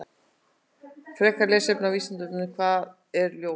Frekara lesefni á Vísindavefnum: Hvað er ljóð?